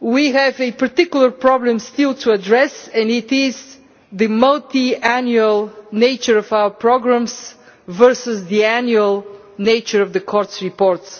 we have a particular problem still to address, and it is the multiannual nature of our programmes versus the annual nature of the Court's reports